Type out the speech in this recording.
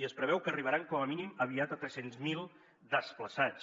i es preveu que arribaran com a mínim aviat a tres cents miler desplaçats